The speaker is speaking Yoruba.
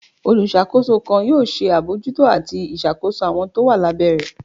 Oluṣakos kan yoo ṣe abojúto atí ìṣàkoso awọn to wa lá bẹ́ rẹ.